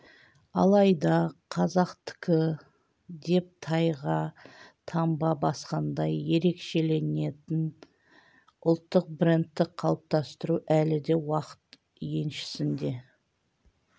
алайда қазақтікі деп тайға таңба басқандай ерекшеленетін ұлттық брендті қалыптастыру әлі де уақыт еншісінде